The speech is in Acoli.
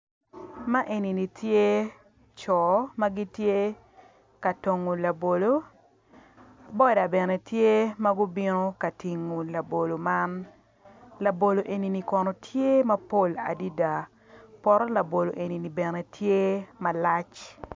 Man eni tye co ma gitye ka dongo labolo boda bene gitye ma gubino ka tingo labolo man labolo eni kono tye mapol adada poto labolo neni tye malac.